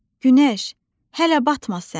Günəş, hələ batma sən.